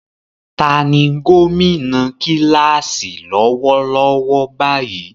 Ta ni gómìnà kíláàsì lọ́wọ́lọ́wọ́ báyìí?